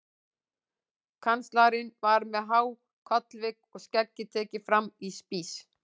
Kanslarinn var með há kollvik og skeggið tekið fram í spíss.